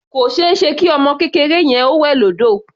Kò ṣeéṣe kí ọmọ kékeré yẹn ó wẹ̀ lódò.